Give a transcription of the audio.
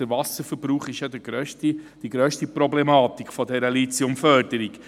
Der Wasserverbrauch ist die grösste Problematik dieser Lithiumförderung.